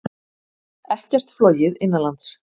Ekkert flogið innanlands